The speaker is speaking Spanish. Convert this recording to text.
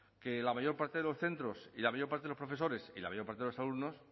que la mayor parte de los centros y la mayor parte de los profesores y la mayor parte de los alumnos